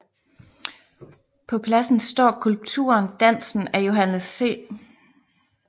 På pladsen står skulpturen Dansen af Johannes C